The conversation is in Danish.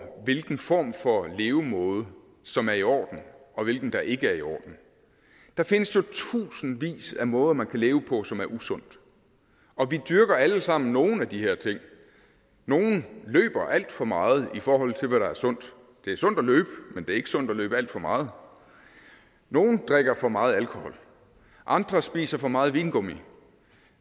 hvilken form for levemåde som er i orden og hvilken der ikke er i orden der findes jo tusindvis af måder man kan leve på som er usunde og vi dyrker alle sammen nogle af de her ting nogle løber alt for meget i forhold til hvad der er sundt det er sundt at løbe men det er ikke sundt at løbe alt for meget nogle drikker for meget alkohol andre spiser for meget vingummi